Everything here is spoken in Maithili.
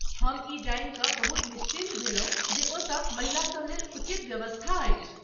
हम ई जानि कऽ बहुत निश्चिन्त भेलहुँ जे ओतय महिलासभ लेल उचित व्यवस्था अछि।